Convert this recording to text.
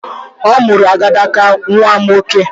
Ọ mụrụ agadaga nwa nwoke